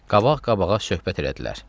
Qabaq-qabağa söhbət elədilər.